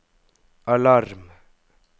alarm